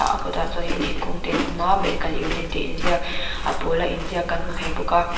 a kawt ah chuanin thingkung te an awm a medical unit tih in ziak a pawl a inziak kan hmu thei bawk a.